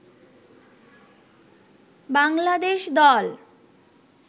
বাংলাদেশ দল